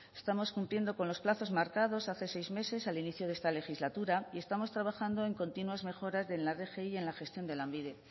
estamos cumpliendo con los plazos marcados hace seis meses al inicio de esta legislatura y estamos trabajando en continuas mejorar de la rgi en la gestión de lanbide